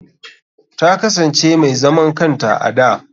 Ta kasance mai zaman kanta a da.